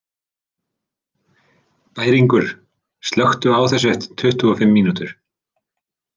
Bæringur, slökktu á þessu eftir tuttugu og fimm mínútur.